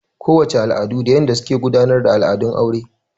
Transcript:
Ko wace al'adu da yanda suke gudanar da al'adun aure.